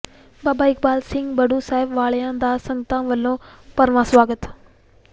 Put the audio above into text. ਬਾਬਾ ਇਕਬਾਲ ਸਿੰਘ ਬੜੂ ਸਾਹਿਬ ਵਾਲਿਆਂ ਦਾ ਸੰਗਤਾਂ ਵਲੋਂ ਭਰਵਾਂ ਸਵਾਗਤ